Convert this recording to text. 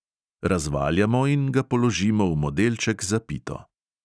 Razvaljamo in ga položimo v modelček za pito.